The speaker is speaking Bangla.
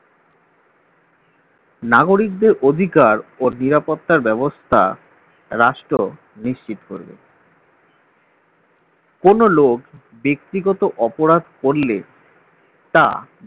নাগরিকদের অধিকার ও নিরাপত্তার ব্যবস্থা রাষ্ট্র নিশ্চিত করবে কোন লোক ব্যক্তিগত অপরাধ করলে তা